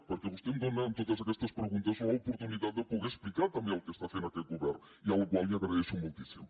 perquè vostè em dóna amb totes aquestes preguntes l’oportunitat de poder explicar també el que està fent aquest govern la qual cosa li agraeixo moltíssim